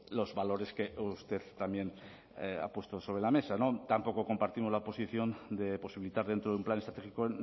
los valores que usted también ha puesto sobre la mesa tampoco compartimos la posición de posibilitar dentro de un plan estratégico